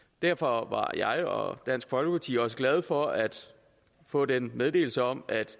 derfor var jeg og dansk folkeparti også glade for at få den meddelelse om at